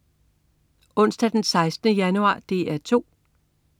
Onsdag den 16. januar - DR 2: